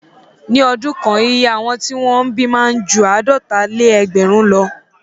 Ní ọdún kan iye àwọn tí wọ́n bí máa ń ju àádọ́talé-ẹgbẹ̀rún lọ.